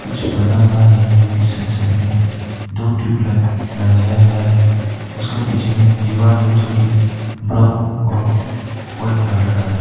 सब बना हुआ है जो की साइड साइड में दो ट्यूबलाइट लगाया गया है उसका पीछे में दीवार है जो कि ब्राउन और वाइट कलर का है।